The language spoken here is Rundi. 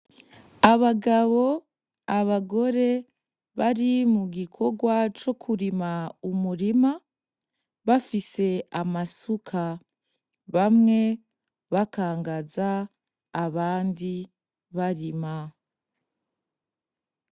Abagabo, abagore bari mu gikorwa co kurima umurima bafise amasuka bamwe bakangaza abandi barima.